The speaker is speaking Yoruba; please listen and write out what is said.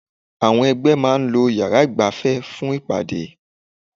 Àwọn ẹgbẹ́ máa ń lo yàrá ìgbafẹ́ fún ìpàdé.